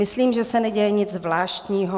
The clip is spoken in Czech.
Myslím, že se neděje nic zvláštního.